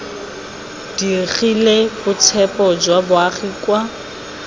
digile boitshepo jwa baagi kwa